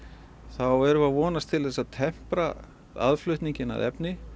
erum við að vonast til þess að tempra aðflutninginn á efni